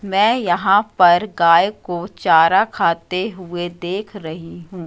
मैं यहां पर गाय को चारा खाते हुए देख रही हूं।